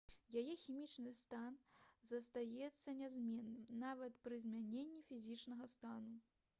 яе хімічны стан застаецца нязменным нават пры змяненні фізічнага стана